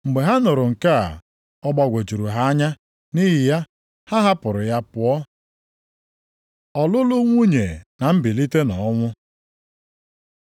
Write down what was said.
Mgbe ha nụrụ nke a, ọ gbagwojuru ha anya, nʼihi ya, ha hapụrụ ya pụọ. Ọlụlụ nwunye na mbilite nʼọnwụ